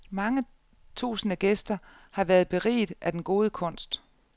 Mange tusinde gæster har været beriget af den gode kunst.